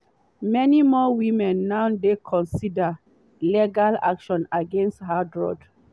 many more women now dey consider legal action against harrods.